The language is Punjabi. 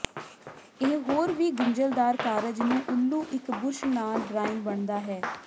ਇਹ ਹੋਰ ਵੀ ਗੁੰਝਲਦਾਰ ਕਾਰਜ ਨੂੰ ਉੱਲੂ ਇੱਕ ਬੁਰਸ਼ ਨਾਲ ਡਰਾਇੰਗ ਬਣਦਾ ਹੈ